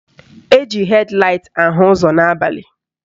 Eji hed laịt ahụ ụzọ n'abalị.